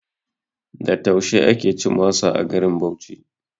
Da taushe ake cin masa a garin Bauchi